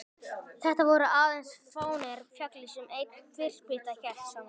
Þetta voru aðeins fáeinar fjalir sem ein þverspýta hélt saman.